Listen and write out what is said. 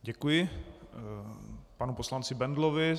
Děkuji panu poslanci Bendlovi.